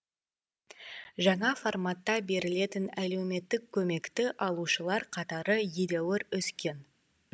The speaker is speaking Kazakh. жаңа форматта берілетін әлеуметтік көмекті алушылар қатары едәуір өскен